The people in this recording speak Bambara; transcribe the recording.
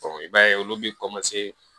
i b'a ye olu bɛ